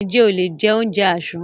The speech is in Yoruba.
Ǹjẹ́ o lè jẹ oúnjẹ àsán?